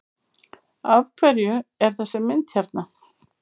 Af hverju er þessi mynd hérna?